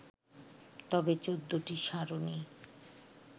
তবে ১৪টি সারণি